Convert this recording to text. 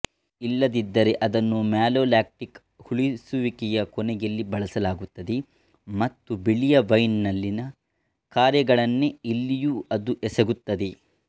ಇಲ್ಲದಿದ್ದರೆ ಅದನ್ನು ಮ್ಯಾಲೋಲ್ಯಾಕ್ಟಿಕ್ ಹುಳಿಸುವಿಕೆಯ ಕೊನೆಯಲ್ಲಿ ಬಳಸಲಾಗುತ್ತದೆ ಮತ್ತು ಬಿಳಿಯ ವೈನ್ ನಲ್ಲಿನ ಕಾರ್ಯಗಳನ್ನೇ ಇಲ್ಲಿಯೂ ಅದು ಎಸಗುತ್ತದೆ